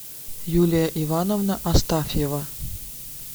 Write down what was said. юлия ивановна астафьева